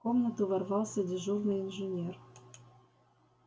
в комнату ворвался дежурный инженер